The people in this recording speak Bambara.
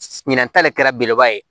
Ɲinɛn ta de kɛra belebeleba ye